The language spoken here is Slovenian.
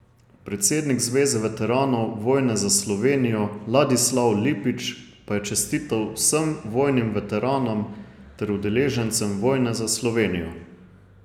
Predsednik Zveze veteranov vojne za Slovenijo Ladislav Lipič pa je čestital vsem vojnim veteranom ter udeležencem vojne za Slovenijo.